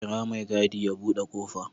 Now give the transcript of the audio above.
Kira mai gadi ya buɗe ƙofa